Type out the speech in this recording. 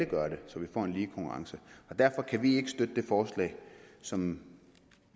gøre det så vi får en lige konkurrence derfor kan vi ikke støtte det forslag som